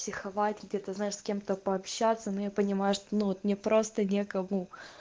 психовать ну это знаешь с кем-то пообщаться но я понимаешь что ну мне просто некому